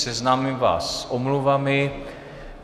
Seznámím vás s omluvami.